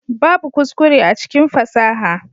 Babbu kuskure a cikin fasaha.